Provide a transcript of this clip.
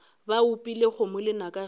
ba opile kgomo lenaka ge